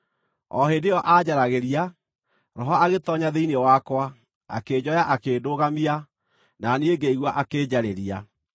O hĩndĩ ĩyo aanjaragĩria, Roho agĩtoonya thĩinĩ wakwa, akĩnjoya akĩndũgamia, na niĩ ngĩigua akĩnjarĩria.